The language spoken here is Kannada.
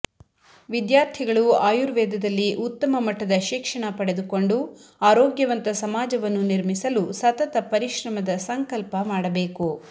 ವಿದ್ಯಾರ್ಥಿಗಳು ಆಯುರ್ವೇದದಲ್ಲಿ ಉತ್ತಮ ಮಟ್ಟದ ಶಿಕ್ಷಣ ಪಡೆದುಕೊಂಡು ಆರೋಗ್ಯವಂತ ಸಮಾಜವನ್ನು ನಿರ್ಮಿಸಲು ಸತತ ಪರಿಶ್ರಮದ ಸಂಕಲ್ಪ ಮಾಡಬೇಕು